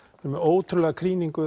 með ótrúlega